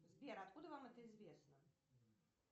сбер откуда вам это известно